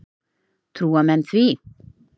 Trúa menn því?